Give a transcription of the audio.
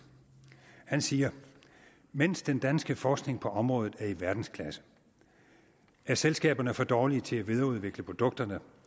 han siger mens den danske forskning på området er i verdensklasse er selskaberne for dårlige til at videreudvikle produkterne